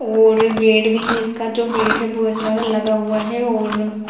और गेट भी है इसका जो गेट है वो ऐसा लग रहा है लगा हुआ है और --